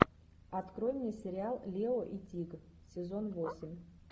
открой мне сериал лео и тиг сезон восемь